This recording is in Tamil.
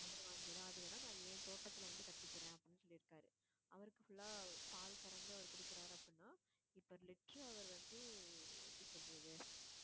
அதை வாங்கிடுறேன் அது வேணா நான் என் தோட்டத்துல வந்து கட்டிக்கிறேன் அப்படின்னு சொல்லியிருக்காரு அவருக்கு full ஆ பால் கறந்துஅவர் குடுக்கறாரு அப்படின்னா இப்ப liter அவர் வந்து எப்படி சொல்றது